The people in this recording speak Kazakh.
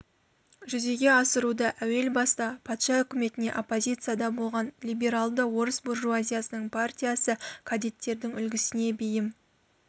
жүзеге асыруда әуел баста патша үкіметіне оппозицияда болған либералды орыс буржуазиясының партиясы кадеттердің үлгісіне бейім